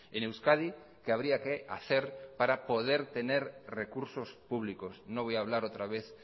en euskadi que habría que hacer para poder tener recursos públicos no voy a hablar otra vez